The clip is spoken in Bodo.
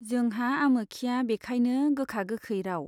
जोंहा आमोखिया बिखायनो गोखा गोखै राव